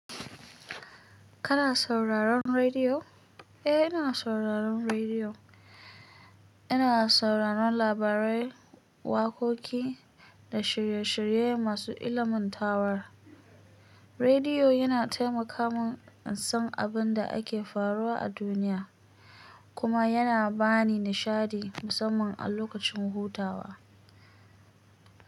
Kana sauraron rediyo? Eh, ina sauraron rediyo. Ina sauraron labarai, waƙoƙi da shirye-shirye masu ilimantarwa. Rediyo yana taimaka mun in san abin da ake faruwa a duniya kuma yana bani nishaɗi musamman a lokacin hutawa.